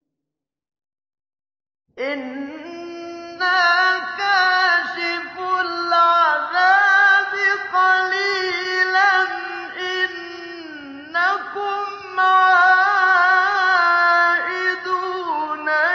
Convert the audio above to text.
إِنَّا كَاشِفُو الْعَذَابِ قَلِيلًا ۚ إِنَّكُمْ عَائِدُونَ